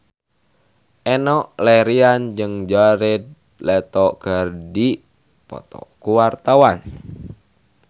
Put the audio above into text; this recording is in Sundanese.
Enno Lerian jeung Jared Leto keur dipoto ku wartawan